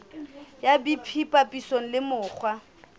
ya bt papisong le mekgwa